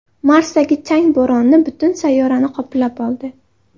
Marsdagi chang bo‘roni butun sayyorani qoplab oldi.